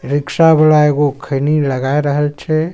Rickshaw वाला एगो खैनी लगा रहल छै।